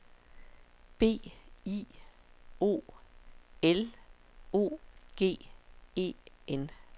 B I O L O G E N